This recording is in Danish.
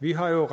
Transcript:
vi har jo